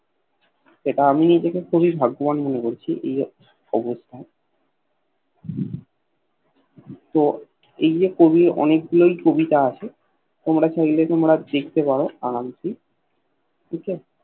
এটা আমি নিজেকে খুব ভাগ্যবান মনে করছি এই অবস্তায় তো এই যে কবির অনেক গুলোই কবিতা আছে তোমরা চাইলে তোমরা দেখতে পারো আরামসে ঠিক আছে